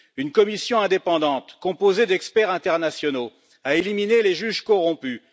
Une commission indépendante, composée d'experts internationaux, a éliminé les juges corrompus.